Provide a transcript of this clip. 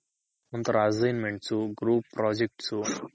ಒಂತರ Assignments Group projects